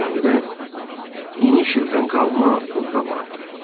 Zirzəmidə iniş ildən qalma buğda vardı.